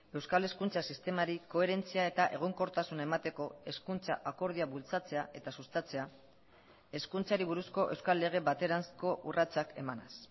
euskal hezkuntza sistemari koherentzia eta egonkortasuna emateko hezkuntza akordioa bultzatzea eta sustatzea hezkuntzari buruzko euskal lege bateranzko urratsak emanez